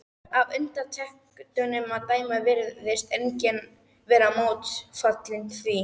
Af undirtektunum að dæma virtist enginn vera mótfallinn því.